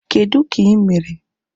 Kedụ ka ị mere?